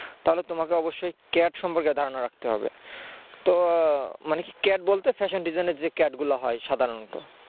তাহলে তোমাকে অবশ্যই cad সম্পর্কে ধারণা রাখতে হবে তো মানে কি cad বলতে fashion design এর যে cad গুলো হয় সাধারণত